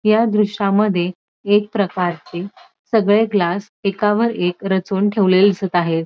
या दृश्यामध्ये एक प्रकारची सगळे ग्लास एकावर एक रचून ठेवलेले दिसत आहेत.